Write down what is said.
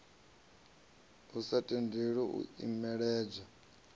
a sa tendeli u imelelwa